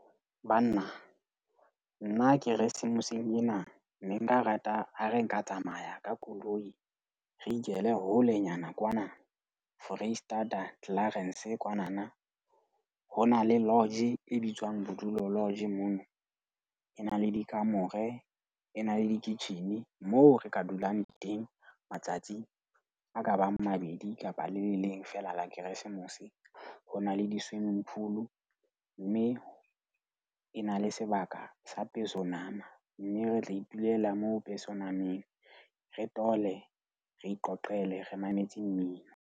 Banna, nna Keresemoseng ena ne nka rata ha re nka tsamaya ka koloi. Re ikele holenyana kwana Foreisetata, Clarens kwanana. Ho na le lodge e bitswang Bodulo Lodge. Mono e na le dikamore, e na le kitjhini moo re ka dulang teng matsatsi a ka bang mabedi kapa le le leng fela la Keresemose. Ho na le di-swimming pool. Mme e na le sebaka sa peso nama. Mme re tla itulela moo peso nameng. Re tole re iqoqele, re mametse mmino.